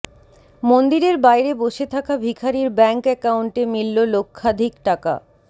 মন্দিরের বাইরে বসে থাকা ভিখারীর ব্যাংক অ্যাকাউন্টে মিলল লক্ষাধিক টাকা